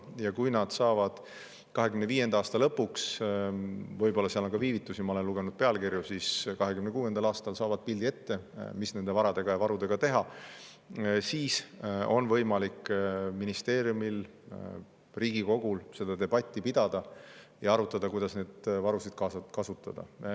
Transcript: Ja kui nad saavad 2025. aasta lõpuks – võib-olla seal on ka viivitusi, ma olen lugenud pealkirju –, või 2026. aastal pildi ette, mis nende varadega ja varudega teha, siis on võimalik ministeeriumil ja Riigikogul seda debatti pidada ja arutada, kuidas neid varusid kasutada.